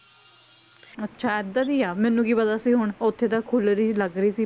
ਅੱਛਾ ਏਦਾਂ ਦੀ ਆ, ਮੈਨੂੰ ਕੀ ਪਤਾ ਸੀ ਹੁਣ, ਉੱਥੇ ਤਾਂ ਖੁੱਲ ਰਹੀ ਸੀ ਲੱਗ ਰਹੀ ਸੀ।